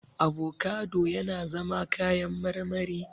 Avocado yana zama kayan marmari.